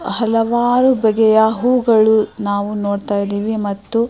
ಹಲವಾರು ಬಗೆಯ ಹೂವುಗಳು ನಾವು ನೋಡತಾಯಿದೀವಿ ಮತ್ತು --